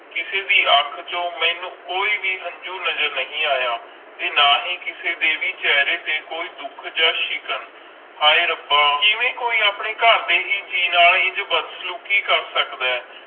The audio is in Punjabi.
ਕਿਸੇ ਦੇ ਅਣਖ ਚੂ ਕੋਈ ਹੰਜੂ ਨਜ਼ਰ ਨਾ ਆਯਾ ਓਰ ਨਾ ਕਿਸੇ ਦੇ ਚੇਹਰੇ ਤੇ ਕੋਈ ਦੁੱਖ ਤਾ ਸ਼ਿਕਾਂ ਹਾਏ ਰੱਬ ਕਿਵੇਂ ਕੋਈ ਆਪਣੇ ਕਰ ਦੇ ਹੈ ਜੀ ਨਾਲ ਇੰਜ ਬਾਦ ਸਾਲੂਕੀ ਕਰ ਸਕਦਾ ਆਈ